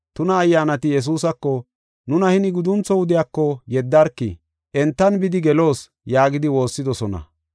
Tuna ayyaanati Yesuusako, “Nuna hini guduntho wudiyako yeddarki, entan bidi geloos” yaagidi woossidosona.